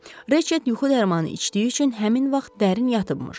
Reçet yuxu dərmanı içdiyi üçün həmin vaxt dərin yatıbmış.